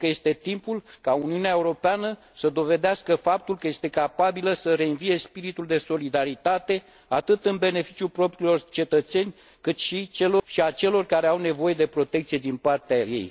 Cred că este timpul ca Uniunea Europeană să dovedească faptul că este capabilă să reînvie spiritul de solidaritate, atât în beneficiul propriilor cetățeni, cât și a celor care au nevoie de protecție din partea ei.